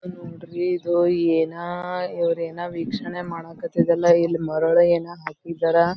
ನೋಡ್ರಿ ಇದು ಏನ್ ಇವರು ಏನೋ ವೀಕ್ಷಣೆ ಮಾಡಕ್ಕತತಲ್ಲಾ ಇಲ್ಲಿ ಮರಳು ಏನೋ ಹಾಕಿದರ.